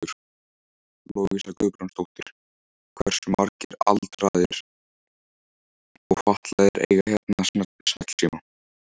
Lovísa Guðbrandsdóttir: Hversu margir aldraðir og fatlaðir eiga hérna snjallsíma?